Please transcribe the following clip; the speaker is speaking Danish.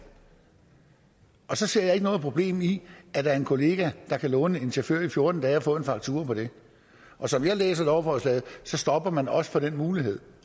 og så ser jeg ikke noget problem i at der er en kollega der kan låne en chauffør i fjorten dage og få en faktura på det og som jeg læser lovforslaget stopper man også for den mulighed